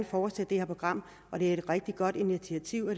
fortsætte det her program at det er et rigtig godt initiativ og